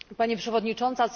Pani Przewodnicząca!